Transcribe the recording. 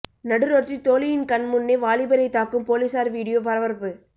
நடுரோட்டில் தோழியின் கண் முன்னே வாலிபரை தாக்கும் போலீசார் வீடியோ பரபரப்பு